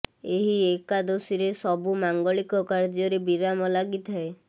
ଏହି ଏକାଦଶୀରେ ସବୁ ମାଙ୍ଗଳିକ କାର୍ୟ୍ୟ ରେ ବିରାମ ଲାଗିଥାଏ